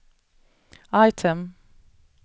item